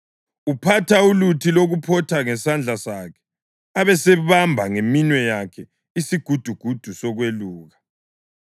Uphatha uluthi lokuphotha ngesandla sakhe abesebamba ngeminwe yakhe isigudugudu sokweluka.